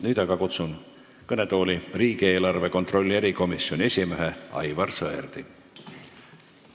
Nüüd aga kutsun kõnetooli riigieelarve kontrolli erikomisjoni esimehe Aivar Sõerdi.